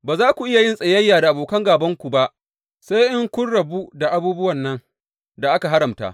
Ba za ku iya yin tsayayya da abokan gābanku ba sai in kun rabu da abubuwan nan da aka haramta.